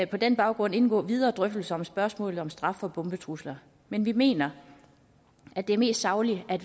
på den baggrund indgå videre drøftelser om spørgsmålet om straf for bombetrusler men vi mener at det er mest sagligt at